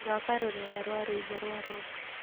thaaka rũrenda rwa rwĩmbo rwa rock